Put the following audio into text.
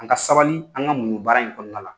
An ka sabali an ka muɲu baara in kɔnɔla la